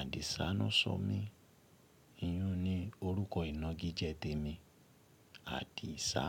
Àdìsá ná ṣọ mí. Iyún ni orúkọ ìnagijẹ tèmi, Àdìsá.